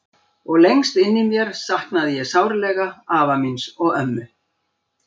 Og lengst inni í mér saknaði ég sárlega afa míns og ömmu.